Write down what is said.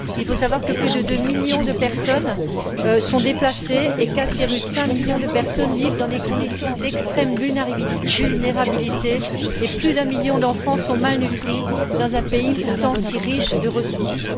Il faut savoir que plus de 2 millions de personnes sont déplacées, 4,5 millions de personnes vivent dans des conditions d'extrême vulnérabilité et plus d'un million d'enfants souffrent de malnutrition dans un pays pourtant si riche en ressources.